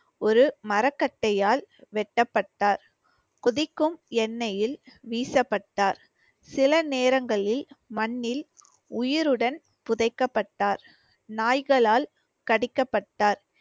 ஒரு மரக்கட்டையால் வெட்டப்பட்டார். கொதிக்கும் எண்ணெயில் வீசப்பட்டார். சில நேரங்களில் மண்ணில் உயிருடன் புதைக்கப்பட்டார். நாய்களால் கடிக்கப்பட்டார்.